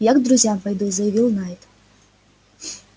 я к друзьям пойду заявил найд